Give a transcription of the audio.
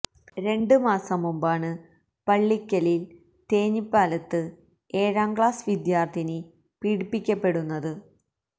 രണ്ട് മാസം മുമ്പാണ് പള്ളിക്കലില് തേഞ്ഞിപ്പലത്ത് ഏഴാം ക്ലാസ് വിദ്യാര്ഥിനി പീഡിപ്പിക്കപ്പെടുന്നത്